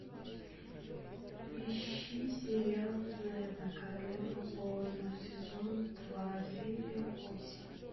ищи сериал зена королева воинов сезон два серия восемь